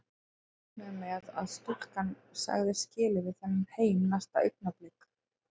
Allir reiknuðu með að stúlkan segði skilið við þennan heim næsta augnablik.